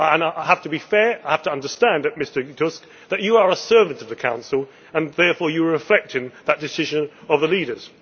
I have to be fair and I have to understand, Mr Tusk, that you are a servant of the Council and therefore you were reflecting that decision of the leaders.